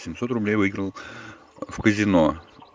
семьсот рублей выиграл в казино